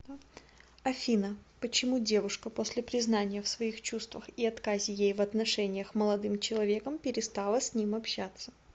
афина почему девушка после признания в своих чувствах и отказе ей в отношениях молодым человеком перестала с ним общаться